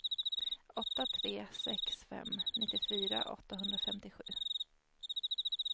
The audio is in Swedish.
åtta tre sex fem nittiofyra åttahundrafemtiosju